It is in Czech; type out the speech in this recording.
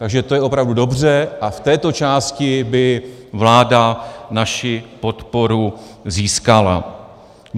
Takže to je opravdu dobře a v této části by vláda naši podporu získala.